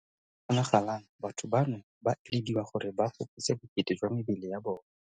Fa go kgonagalang batho bano ba elediwa gore ba fokotse bokete jwa mebele ya bona.